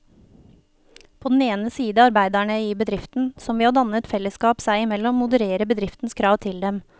På den ene side arbeiderne i bedriften, som ved å danne et fellesskap seg imellom modererer bedriftens krav til dem.